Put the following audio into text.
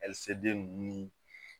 Ali seden nunnu ni